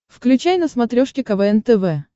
включай на смотрешке квн тв